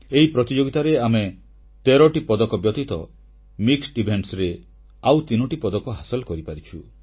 ଏହି ପ୍ରତିଯୋଗିତାରେ ଆମେ 13ଟି ପଦକ ବ୍ୟତୀତ ମିଶ୍ର ବିଭାଗରେ ଆଉ ତିନୋଟି ପଦକ ହାସଲ କରିପାରିଛୁ